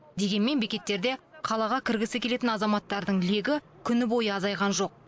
дегенмен бекеттерде қалаға кіргісі келетін азаматтардың легі күні бойы азайған жоқ